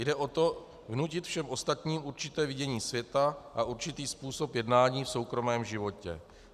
Jde o to vnutit všem ostatním určité vidění světa a určitý způsob jednání v soukromém životě.